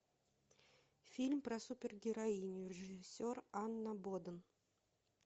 фильм про супергероиню режиссер анна боден